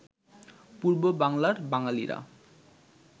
পূর্ব বাংলার বাঙালিরা